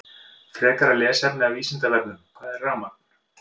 Frekara lesefni af Vísindavefnum: Hvað er rafmagn?